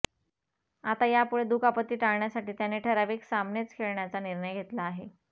आता यापुढे दुखापती टाळण्यासाठी त्याने ठराविक सामनेच खेळण्याचा निर्णय घेतला आहे